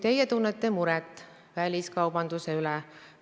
Teie tunnete muret väliskaubanduse pärast.